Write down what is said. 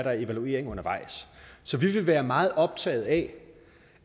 og evaluering undervejs så vi vil være meget optaget af